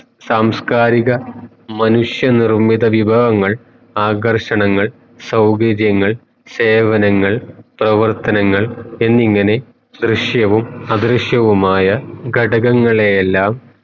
സാംസ്കാരിക മനുഷ്യ നിർമ്മിത വിഭവങ്ങൾ ആകര്ഷണങ്ങൾ സൗകര്യങ്ങൾ സേവനങ്ങൾ പ്രവർത്തനങ്ങൾ എന്നിങ്ങനെ ദൃശ്യവും അദൃശ്യവുമായ ഘടകങ്ങളെയെല്ലാം